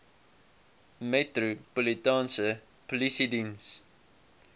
metropolitaanse polisie diens